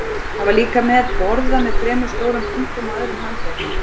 Það var líka með borða með þremur stórum punktum á öðrum handleggnum.